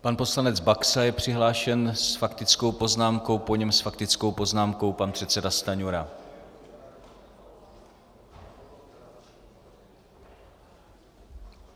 Pan poslanec Baxa je přihlášen s faktickou poznámkou, po něm s faktickou poznámkou pan předseda Stanjura.